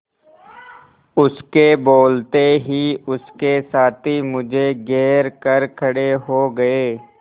उसके बोलते ही उसके साथी मुझे घेर कर खड़े हो गए